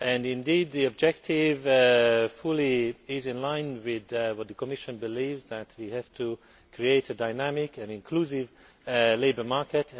Indeed, the objective is fully in line with the Commission's belief that we have to create a dynamic and inclusive labour market.